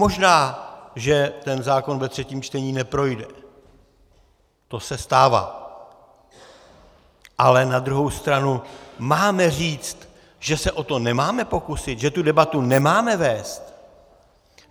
Možná že ten zákon ve třetím čtení neprojde, to se stává, ale na druhou stranu - máme říct, že se o to nemáme pokusit, že tu debatu nemáme vést?